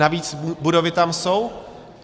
Navíc budovy tam jsou.